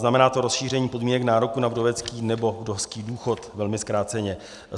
Znamená to rozšíření podmínek nároku na vdovecký nebo vdovský důchod - velmi zkráceně.